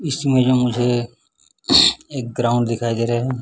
इसमें जो मुझे एक ग्राउंड दिखाई दे रहा है।